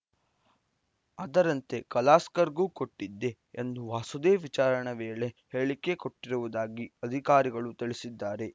ಅದರಂತೆ ಕಲಾಸ್ಕರ್‌ಗೂ ಕೊಟ್ಟಿದ್ದೆ ಎಂದು ವಾಸುದೇವ್‌ ವಿಚಾರಣೆ ವೇಳೆ ಹೇಳಿಕೆ ಕೊಟ್ಟಿರುವುದಾಗಿ ಅಧಿಕಾರಿಗಳು ತಿಳಿಸಿದ್ದಾರೆ